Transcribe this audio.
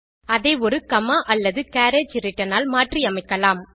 அதை ஒரு காமா அல்லது கேரியேஜ் returnஆல் மாற்றி அமைக்கலாம்